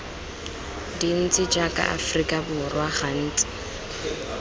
dintsi jaaka aforika borwa gantsi